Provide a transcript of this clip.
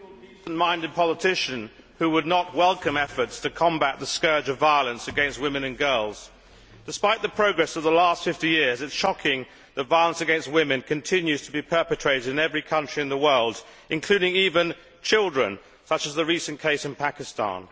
Madam President, I doubt there is a single decent minded politician who would not welcome efforts to combat the scourge of violence against women and girls. Despite the progress of the last fifty years it is shocking that violence against women continues to be perpetrated in every country in the world, including even children, such as the recent case in Pakistan.